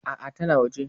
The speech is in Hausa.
A'a tana waje.